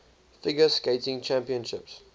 figure skating championships